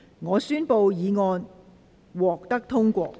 我宣布議案獲得通過。